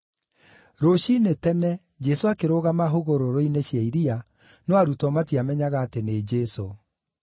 Rũciinĩ tene, Jesũ akĩrũgama hũgũrũrũ-inĩ cia iria, no arutwo matiamenyaga atĩ nĩ Jesũ.